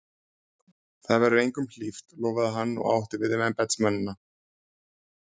Það verður engum hlíft! lofaði hann og átti við embættismennina.